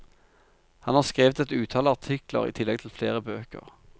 Han har skrevet et utall artikler i tillegg til flere bøker.